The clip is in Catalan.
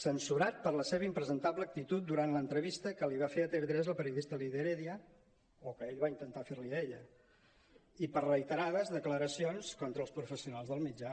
censurat per la seva im·presentable actitud durant l’entrevista que li va fer a tv3 la periodista lídia heredia o que ell va intentar fer·li a ella i per reiterades declaracions contra els professio·nals del mitjà